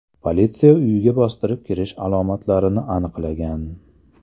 Politsiya uyga bostirib kirish alomatlarini aniqlagan.